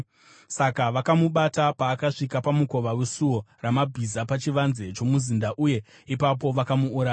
Saka vakamubata paakasvika pamukova weSuo Ramabhiza pachivanze chomuzinda uye ipapo vakamuuraya.